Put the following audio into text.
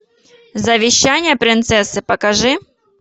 завещание принцессы покажи